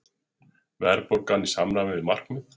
Verðbólgan í samræmi við markmið